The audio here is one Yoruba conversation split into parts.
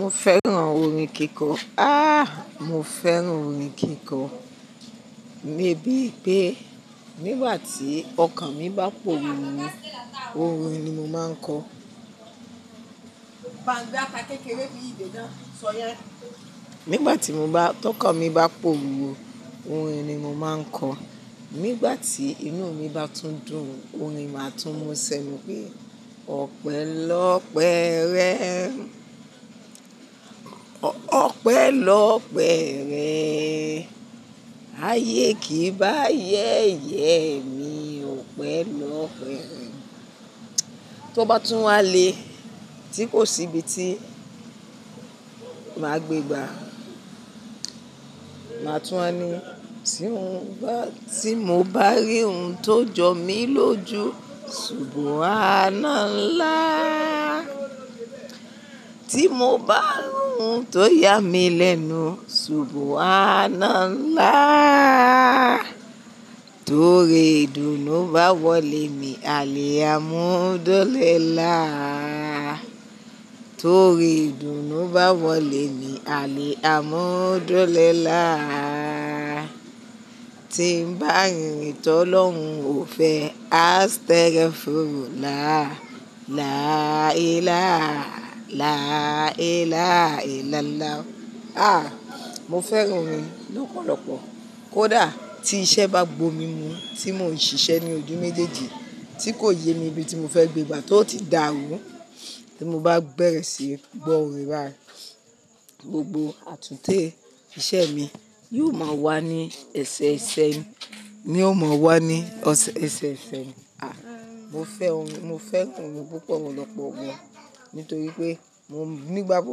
Mo fẹ́ràn orin kíkọ. Ah! Mo fẹ́ràn orin kíkọ, bí i pé nígbà tí ọkàn mi bá pòrúru, orin ni mo máa ń kọ. Nígbà tí tọkan mi bá pòrúru, orin ni mo máa ń kọ. Nígbà tí inú mi bá tún dùn, orin máa tún mú ṣẹnu pé Ọpẹ́ lọ́pẹ́ rẹ, Ọpẹ́ lọ́pẹ́ rẹ, ayé kì í bá ayẹyẹ mi, Ọpẹ́ lọ́pẹ́ rẹ. Tó bá tún wá le tí kò sí ibi tí màá gbé gbà, màá tún wá ni tí mo bá rí ohun tó jọ mí lójú, ṣubú àáná nlá. Tí mo bá rí ohun tó yá mi lẹ́nu, ṣubú àáná nlá. Torí ìdùnnú bá wọlé mi, àli a mú dú li laá. Torí ìdùnnú bá wọlé mi, àlé a mú dúrò lé nlá. Tí ń bá rìn tọ́ lọ́hun, ò fẹ́, astagfurullah, láì, láà, láì, láà, láì, làlà. Ah! Mo fẹ́ràn orin lọ́pọ̀lọpọ̀. Kódà tí iṣẹ́ bá gbó mi mú tí mò ń ṣiṣẹ́ ní ojú méjèèjì tí kò yẹ mi ibi tí mo fẹ́ gbé gbà tó ti dàrú, tí mo bá bẹ̀rẹ̀ síí gbọ́ orin báyìí, gbogbo àtúnte iṣẹ́ mi yóò máa wá ní ẹsẹ̀ ẹsẹ̀ ẹni, yóò mọ wá ní ẹsẹ̀ ẹsẹ̀ ẹni. Ah! Mo fẹ́ orin, mo fẹ́ orin púpọ̀ lọ́pọ̀ gan. Nítorí pé nígbà gbo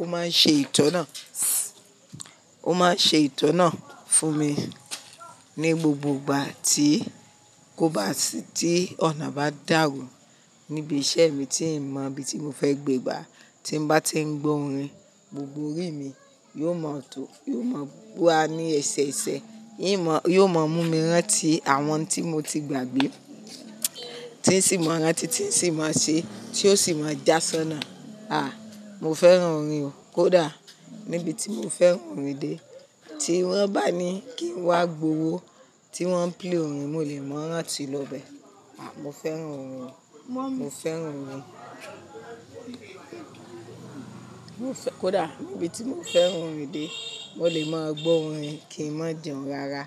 ó máa ń ṣe ìtọ̀nà, ó máa ń ṣe ìtọ̀nà fún mi ní gbogbo ìgbà tí kò bá sí tí ọ̀nà bá dàrú níbi iṣẹ́ mi tí n mọ ibi tí mo fẹ́ gbé gbà tí mbá tí ń gbọ́ orin gbogbo rí mi yóò mọ̀ tó, yóò mọ̀ wá ní ẹsẹ̀ ẹsẹ̀ ẹni, yóò mọ mú mi rán tí àwọn tí mo ti gbàgbé tí sì mọ́ rán tí, tí sì mọ́ ṣe, tí ó sì máa jásánná. Ah! Mo fẹ́ràn orin o. Kódà níbi tí mo fẹ́ràn orin dé tí wón bá ní kí n wá gbòwó tí wọ́n ń play orin, mo lè mọ́ rán tí lọ bẹ. Ah! Mo fẹ́ràn orin, mo fẹ́ràn orin. Mo fẹ́-- kódà níbi tí mo fẹ́ràn orin dé, mo lè máa gbọ́ orin kí ń má jùún rara.